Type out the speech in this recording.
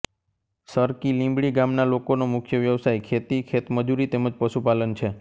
સરકીલીમડી ગામના લોકોનો મુખ્ય વ્યવસાય ખેતી ખેતમજૂરી તેમ જ પશુપાલન છે